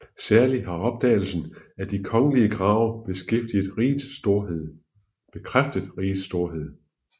Særlig har opdagelsen af de kongelige grave bekræftet rigets storhed